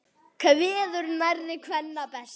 Kveður nærri kvenna best.